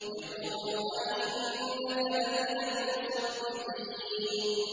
يَقُولُ أَإِنَّكَ لَمِنَ الْمُصَدِّقِينَ